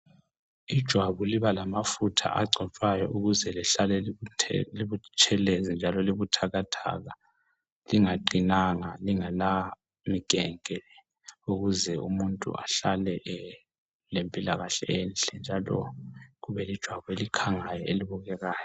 Ijwabu liba lamafutha agcotshwayo ukuze lihlale libutshelezi njalo libuthathaka lingaqinango lingala mikenke ukuze umuntu ehlale lempilakahle enhle njalo ube lejwabu lelikhangayo elibukekayo.